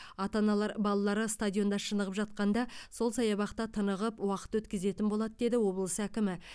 ата аналар балалары стадионда шынығып жатқанда сол саябақта тынығып уақыт өткізетін болады деді облыс әкімі